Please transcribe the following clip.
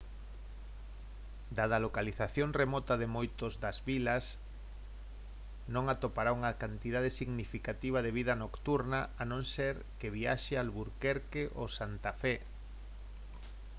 dada a localización remota de moitos das vilas non atopará unha cantidade significativa de vida nocturna a non ser que viaxe a albuquerque o santa fe